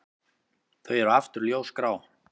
Þau eru aftur ljósgrá.